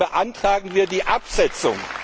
Deswegen beantragen wir die Absetzung.